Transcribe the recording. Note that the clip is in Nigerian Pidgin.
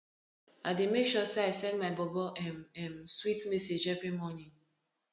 i dey make sure sey i send my bobo um um sweet message every morning